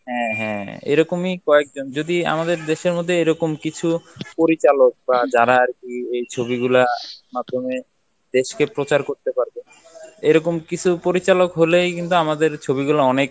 হ্যাঁ হ্যাঁ এরকমই কয়েকজন যদি আমাদের দেশের মধ্যে এরকম কিছু পরিচালক বা যারা আর কি ওই ছবিগুলার মাধ্যমে দেশকে প্রচার করতে পারবে এরকম কিছু পরিচালক হলেই কিন্তু আমাদের ছবিগুলা অনেক